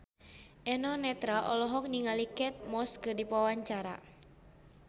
Eno Netral olohok ningali Kate Moss keur diwawancara